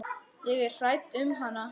Ég er hrædd um hana.